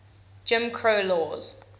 jim crow laws